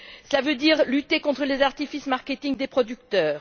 Cela veut dire lutter contre les artifices de marketing des producteurs.